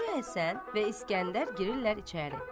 Hacı Həsən və İskəndər girirlər içəri.